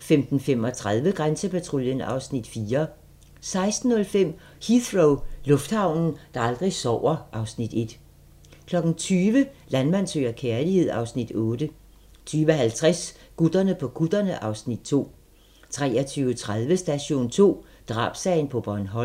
15:35: Grænsepatruljen (Afs. 4) 16:05: Heathrow - lufthavnen, der aldrig sover (Afs. 1) 20:00: Landmand søger kærlighed (Afs. 8) 20:50: Gutterne på kutterne (Afs. 2) 23:30: Station 2: Drabssagen på Bornholm